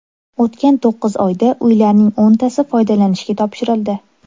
O‘tgan to‘qqiz oyda uylarning o‘ntasi foydalanishga topshirildi.